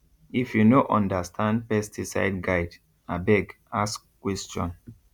if you no understand pesticide guide abeg ask question